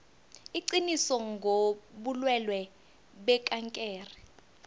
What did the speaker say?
iqiniso ngobulwelwe bekankere